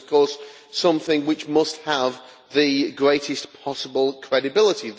It is of course something which must have the greatest possible credibility.